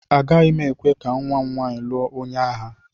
Agaghị m ekwe ka nwa m nwaanyị lụọ onye agha.